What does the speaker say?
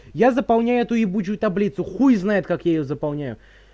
я заполняю эту ебучую таблицу хуй знает как я её заполняю